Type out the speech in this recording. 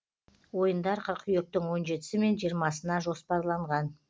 ойындар қыркүйектің он жетісі мен жиырмасына жоспарланған